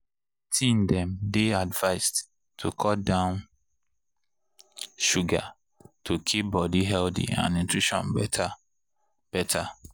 teen dem dey advised to cut down sugar to keep body healthy and nutrition better. better.